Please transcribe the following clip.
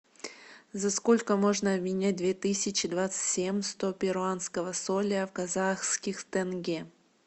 за сколько можно обменять две тысячи двадцать семь сто перуанского соля в казахских тенге